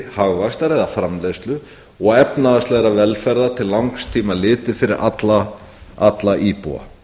hagvaxtar eða framleiðslu og efnahagslegrar velferðar til langs tíma litið fyrir alla íbúa